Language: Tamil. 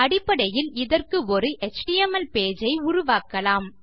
அடிப்படையில் இதற்கு ஒரு எச்டிஎம்எல் பேஜ் ஐ உருவாக்கலாம்